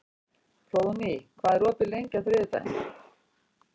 Hróðný, hvað er opið lengi á þriðjudaginn?